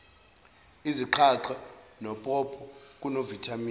izaqathe nopopo kunovithamini